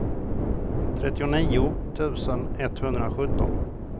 trettionio tusen etthundrasjutton